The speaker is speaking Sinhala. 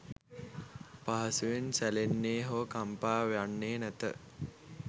පහසුවෙන් සැලෙන්නේ, හෝ කම්පා වන්නේ නැත.